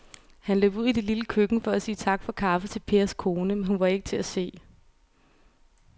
Han løb ud i det lille køkken for at sige tak for kaffe til Pers kone, men hun var ikke til at se.